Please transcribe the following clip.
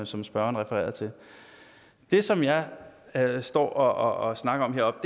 som spørgeren refererede til det som jeg jeg står og snakker om heroppe